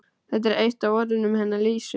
Þetta var eitt af orðunum hennar Lísu.